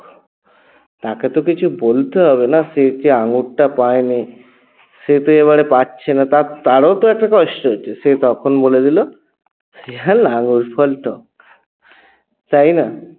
তাকে তো কিছু বলতে হবে না? সে যে আঙ্গুরটা পায়নি সে তো এবারে পাচ্ছে না তা তারো তো একটা কষ্ট হচ্ছে, সে তখন বলে দিল শিয়াল আঙ্গুরফল টক তাই না?